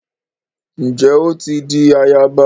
Njé o ti dì àyaba?